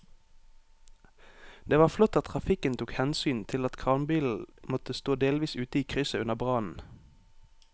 Det var flott at trafikken tok hensyn til at kranbilen måtte stå delvis ute i krysset under brannen.